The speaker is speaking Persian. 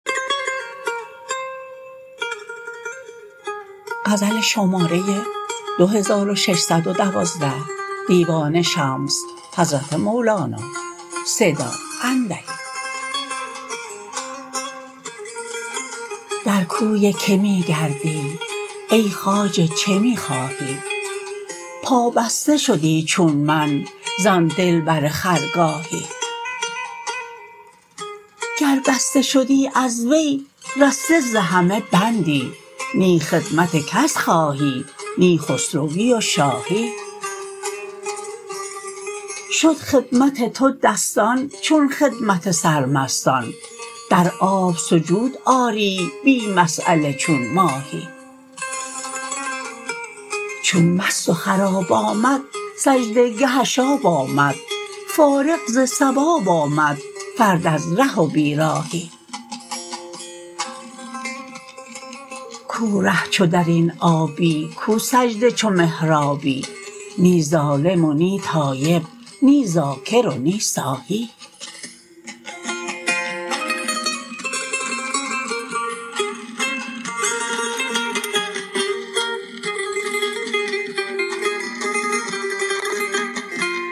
در کوی که می گردی ای خواجه چه می خواهی پابسته شدی چون من زان دلبر خرگاهی گر بسته شدی از وی رسته ز همه بندی نی خدمت کس خواهی نی خسروی و شاهی شد خدمت تو دستان چون خدمت سرمستان در آب سجود آری بی مساله چون ماهی چون مست و خراب آمد سجده گهش آب آمد فارغ ز ثواب آمد فرد از ره و بیراهی کو ره چو در این آبی کو سجده چو محرابی نی ظالم و نی تایب نی ذاکر و نی ساهی